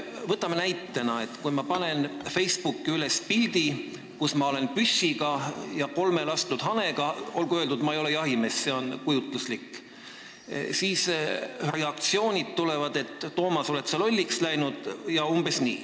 Võtame näitena selle, et kui ma panen Facebooki üles pildi, kus ma olen püssi ja kolme lastud hanega – olgu öeldud, ma ei ole jahimees, see on kujutluslik näide –, siis tulevad umbes sellised reaktsioonid, et Toomas, kas sa oled lolliks läinud.